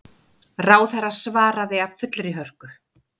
Ráðherra svaraði af fullri hörku.